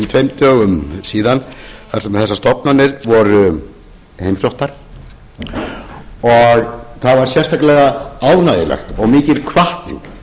tveimur dögum þar sem þessar stofnanir voru heimsóttum og það var sérstaklega ánægjulegt og mikil hvatning